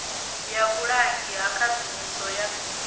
ya vhulangi ha khadzimiso ya